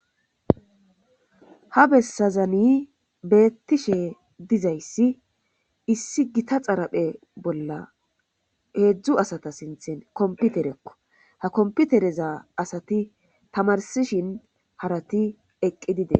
Ha bessazani beettishe dizayssi issi gita xaraphe bolla heedzdzu asata sinthen komputerekko ha komputereza asati tamarsishin harati eqqi dide.